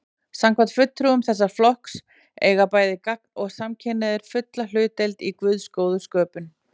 Samkvæmt fulltrúum þessa flokks eiga bæði gagn- og samkynhneigðir fulla hlutdeild í Guðs góðu sköpun.